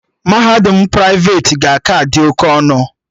Mahadum praiveti ga-aka dị oke ọnụ